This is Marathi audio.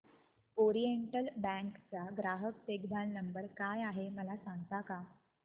ओरिएंटल बँक चा ग्राहक देखभाल नंबर काय आहे मला सांगता का